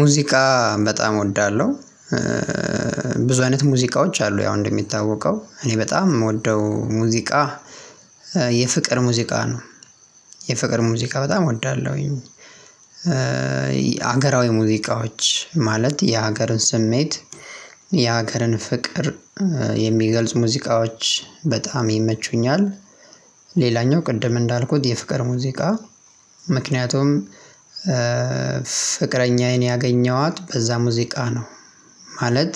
ሙዚቃ በጣም እወዳለሁ። ብዙ አይነት ሙዚቃዎች አሉ ያው እንደሚታወቀው እኔ በጣም የምወደው ሙዚቃ የፍቅር ሙዚቃ ነው። የፍቅር ሙዚቃ በጣም እወዳለሁኝ። ሀገራዊ ሙዚቃዎች ማለት የሀገርን ስሜት የሀገርን ፍቅር የሚገልጹ ሙዚቃዎች በጣም ይመቹኛል። ቅድም እንዳልኩት የፍቅር ሙዚቃ ምክንያቱም ፍቅረኛዬን ያገኘኋት በዛ ሙዚቃ ነው። ማለት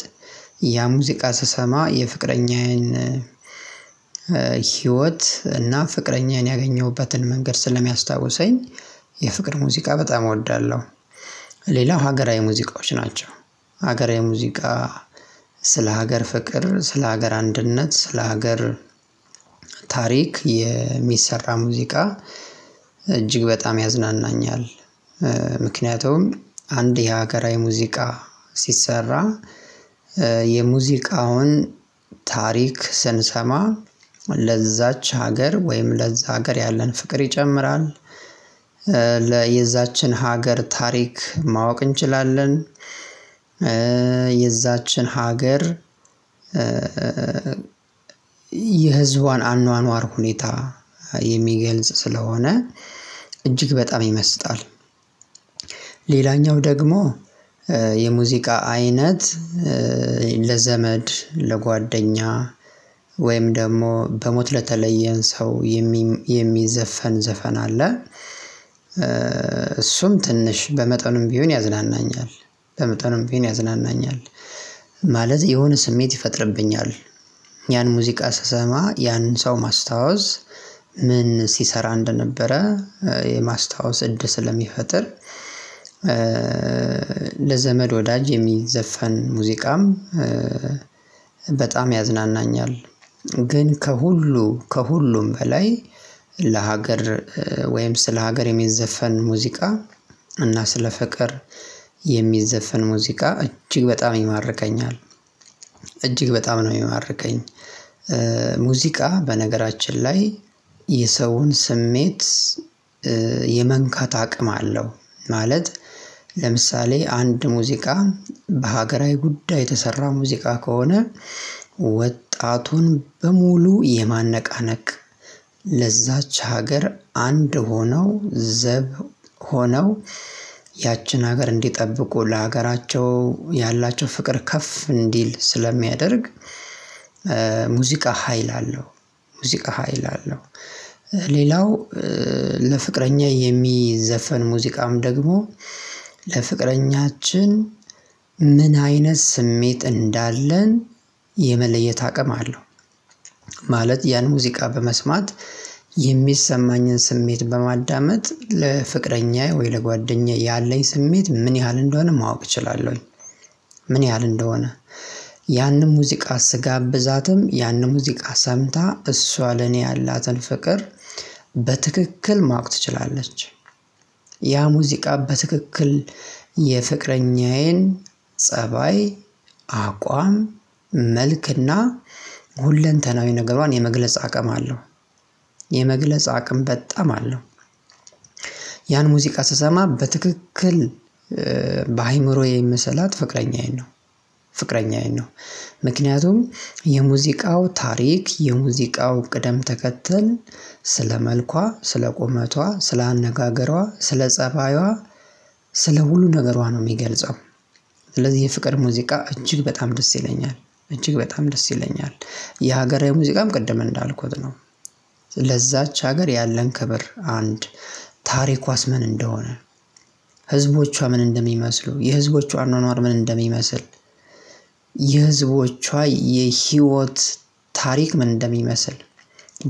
ያ ሙዚቃ ስሰማ የፍቅረኛዬን ሂወት እና ፍቅረኛዬን ያገኘሁበትን መንገድ ስለሚያስታውሰኝ የፍቅር ሙዚቃ በጣም እወዳለሁ። ሌላ ሀገራዊ ሙዚቃዎች ናቸው። ሀገራዊ ሙዚቃ ስለ ሀገር ፍቅር ስለ ሀገር አንድነት ስለ ሀገር ታሪክ የሚሰራ ሙዚቃ እጅግ በጣም ያዝናናኛል። ምክንያቱም አንድ የሀገራዊ ሙዚቃ ሲሰራ የሙዚቃውን ታሪክ ስንሰማ ለዛች ሀገር ወይም ለዛ ሀገር ያለን ፍቅር ይጨምራል። ለ የዛችን ሀገር ታሪክ ማወቅ እንችላለን። የዛችን ሀገር የህዝቧን አኗኗር ሁኔታ የሚገልጽ ስለሆነ እጅግ በጣም ይመስጣል። ሌላኛው ደግሞ የሙዚቃ አይነት። ለዘመድ ለጓደኛ ወይም ደግሞ በሞት ለተለየን ሰው የሚዘፈን ዘፈን አለ። እሱም ትንሽ በመጠኑም ቢሆን ያዝናናኛል በመጠኑም ቢሆን ያዝናናኛል። ማለት የሆነ ስሜት ይፈጥርብኛል። ያን ሙዚቃ ስሰማ ያን ሰው ማስታወስ ምን ሲሰራ እንደነበረ የማስታወስ እድል ስለሚፈጥር። ለዘመድ ወዳጅ የሚዘፈን ሙዚቃም በጣም ያዝናናኛል። ግን ከሁሉ ከሁሉም በላይ ለሀገር ወይም ስለ ሀገር የሚዘፈን ሙዚቃ እና ስለ ፍቅር የሚዘፈን ሙዚቃ እጅግ በጣም ይማርከኛል። እጅግ በጣም ነው የሚማርከኝ። ሙዚቃ በነገራችን ላይ የሰውን ስሜት የመንካት አቅም አለው። ማለት ለምሳሌ አንድ ሙዚቃ በሀገራዊ ጉዳይ የተሰራ ሙዚቃ ከሆነ ወጣቱን በሙሉ የማነቃነቅ ለዛች ሀገር አንድ ሆነው ዘብ ሆነው ያችን ሀገር እንዲጠብቁ ለሀገራቸው ያላቸው ፍቅር ከፍ እንዲል ስለሚያደርግ። ሙዚቃ ሀይል አለው። ሙዚቃ ሀይል አለው። ሌላው ለፍቅረኛ የሚዘፈን ሙዚቃም ደግሞ ለፍቅረኛችን ምን አይነት ስሜት እንዳለን የመለየት አቅም አለው። ማለት ያን ሙዚቃ በመስማት የሚሰማኝን ስሜት በማዳመጥ ለፍቅረኛዬ ወይ ለጓደኛዬ ያለኝ ስሜት ምን ያህል እንደሆነ ማወቅ እችላለሁኝ። ምን ያህል ያንን ሙዚቃ ስጋብዛትም ያንን ሙዚቃ ሰምታ እሷ ለኔ ያላትን ፍቅር በትክክል ማወቅ ትችላለች። ያ ሙዚቃ በትክክል የፍቅረኛዬን ፀባይ አቋም መልክና ሁለንተናዊ ነገሯን የመግለጽ አቅም አለው። የመግለጽ አቅም በጣም አለው። ያን ሙዚቃ ስሰማ በትክክል በአእምሮዬ የምሰላት ፍቅረኛዬን ነው። ፍቅረኛዬን ነው። ምክንያቱም የሙዚቃው ታሪክ የሙዚቃው ቅደም ተከተል ስለ መልኳ ስለ ቁመቷ ስለ አነጋገሯ ስለ ፀባይዋ ስለ ሙሉ ነገሯ ነው የሚገልጸው። ስለዚህ የፍቅር ሙዚቃ እጅግ በጣም ደስ ይለኛል። እጅግ በጣም ደስ ይለኛል። የሀገራዊ ሙዚቃም ቅድም እንዳልኩት ነው። ለዛች ሀገር ያለን ክብር አንድ ታሪኳስ ምን እንደሆነ ህዝቦቿ ምን እንደሚመስሉ የህዝቦቿ አኗኗር ምን እንደሚመስል የህዝቦቿ የሂወት ታሪክ ምን እንደሚመስል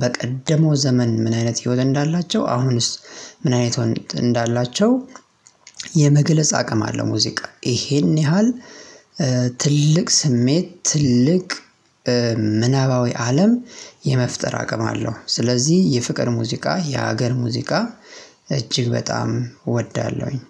በቀደመው ዘመን ምን አይነት ህይወት እንዳላቸው አሁንስ ምን አይነት ህይወት እንዳላቸው የመገለጽ አቅም አለ ሙዚቃ ይሄን ያህል። ትልቅ ስሜት ትልቅ ምናባዊ አለም የመፍጠር አቅም አለው። ስለዚህ የፍቅር ሙዚቃ የሀገር ሙዚቃ እጅግ በጣም እወዳለሁኝ